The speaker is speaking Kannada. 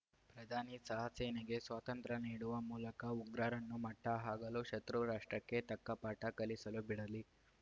ಪ್ರಧಾನಿ ಸಹ ಸೇನೆಗೆ ಸ್ವಾತಂತ್ರ್ಯ ನೀಡುವ ಮೂಲಕ ಉಗ್ರರನ್ನು ಮಟ್ಟಹಾಕಲು ಶತೃರಾಷ್ಟ್ರಕ್ಕೆ ತಕ್ಕ ಪಾಠ ಕಲಿಸಲು ಬಿಡಲಿ